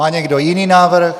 Má někdo jiný návrh?